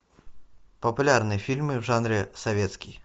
популярные фильмы в жанре советский